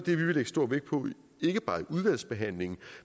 vi vil lægge stor vægt på ikke bare i udvalgsbehandlingen